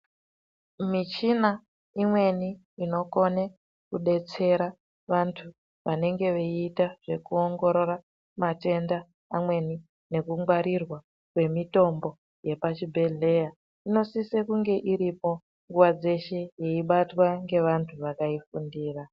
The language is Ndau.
Michina imweni inokone kudetsera vantu vanenge veiita zvekuongorora matenda amweni nekungwarirwa kwemitombo yepachibhedhlera inosisa kunge iripo nguwa dzeshe yeibatwa ngevantu vakafundira.